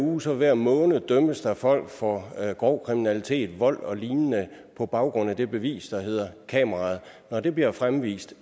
uge så hver måned dømmes der folk for grov kriminalitet vold og lignende på baggrund af det bevis der hedder kameraet når det bliver fremvist